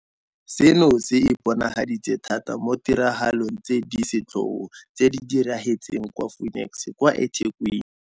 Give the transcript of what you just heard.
Seno se iponagaditse thata mo ditiragalong tse di setlhogo tse di diragetseng kwa Phoenix kwa eThekwini.